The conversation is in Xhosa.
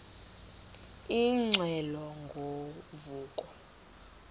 ingxelo ngo vuko